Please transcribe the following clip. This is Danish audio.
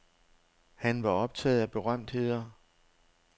Han var optaget af berømtheder.